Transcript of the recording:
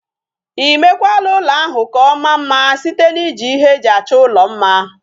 Imekwala ulo ahu ka omaa mma site na iji ihe eji acho ulo mma?